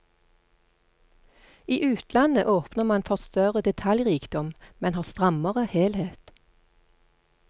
I utlandet åpner man for større detaljrikdom, men har strammere helhet.